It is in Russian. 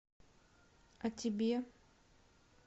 а тебе